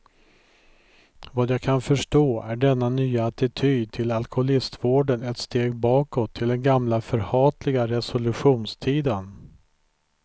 Vad jag kan förstå är denna nya attityd till alkoholistvården ett steg bakåt till den gamla förhatliga resolutionstiden.